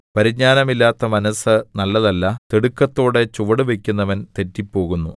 പരിജ്ഞാനമില്ലാത്ത മനസ്സ് നല്ലതല്ല തിടുക്കത്തോടെ ചുവട് വയ്ക്കുന്നവൻ തെറ്റിപ്പോകുന്നു